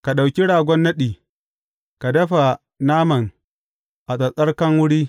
Ka ɗauki ragon naɗi, ka dafa naman a tsattsarkan wuri.